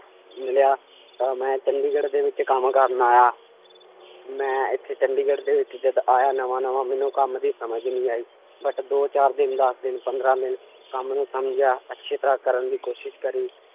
ਮਿਲਿਆ, ਤਾਂ ਮੈਂ ਚੰਡੀਗੜ੍ਹ ਦੇ ਵਿੱਚ ਕੰਮ ਕਰਨ ਆਇਆ, ਮੈਂ ਇੱਥੇ ਚੰਡੀਗੜ੍ਹ ਦੇ ਵਿੱਚ ਜਦ ਆਇਆ ਨਵਾਂ ਨਵਾਂ ਮੈਨੂੰ ਕੰਮ ਦੀ ਸਮਝ ਨਹੀਂ ਆਈ but ਦੋ ਚਾਰ ਦਿਨ ਦਸ ਦਿਨ ਪੰਦਰਾਂ ਦਿਨ ਕੰਮ ਨੂੰ ਸਮਝਿਆ ਅੱਛੀ ਤਰ੍ਹਾਂ ਕਰਨ ਦੀ ਕੋਸ਼ਿਸ਼ ਕਰੀ